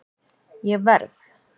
Ég verð